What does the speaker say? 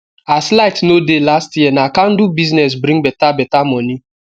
as light no dey last year na candle business bring beta beta moni